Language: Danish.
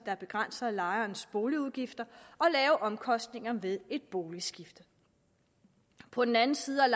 der begrænser lejernes boligudgifter og lave omkostninger ved et boligskifte på den anden side er